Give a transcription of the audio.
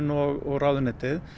og ráðuneytið